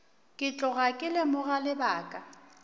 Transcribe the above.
ke tloga ke lemoga lebaka